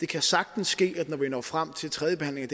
kan sagtens ske at når vi når frem til tredjebehandlingen